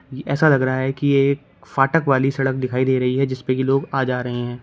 ऐसा लग रहा है कि ये फाटक वाली सड़क दिखाई दे रही है जिसपे की लोग आ जा रहे हैं।